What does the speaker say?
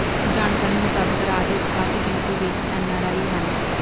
ਜਾਣਕਾਰੀ ਮੁਤਾਬਕ ਰਾਜ ਵਿਚ ਕਾਫੀ ਗਿਣਤੀ ਵਿਚ ਐਨਆਰਆਈ ਹਨ